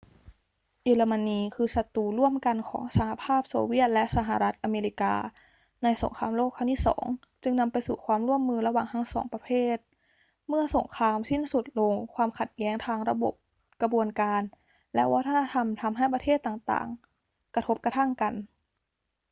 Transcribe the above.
เยอรมนีคือศัตรูร่วมกันของสหภาพโซเวียตและสหรัฐอเมริกาในสงครามโลกครั้งที่ 2 จึงนำไปสู่ความร่วมมือระหว่างทั้งสองประเทศ เมื่อสงครามสิ้นสุดลง ความขัดแย้งทางระบบ กระบวนการ และวัฒนธรรม ทำให้ประเทศต่าง ๆ กระทบกระทั่งกัน